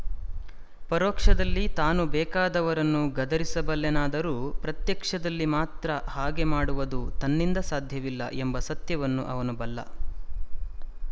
ಪರೋಕ್ಷದಲ್ಲಿ ತಾನು ಬೇಕಾದವರನ್ನು ಗದರಿಸಬಲ್ಲೆನಾದರೂ ಪ್ರತ್ಯಕ್ಷದಲ್ಲಿ ಮಾತ್ರ ಹಾಗೆ ಮಾಡುವದು ತನ್ನಿಂದ ಸಾಧ್ಯವಿಲ್ಲ ಎಂಬ ಸತ್ಯವನ್ನು ಅವನು ಬಲ್ಲ